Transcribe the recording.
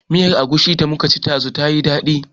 Miyar Agushin da muka ci ɗazu ta yi daɗi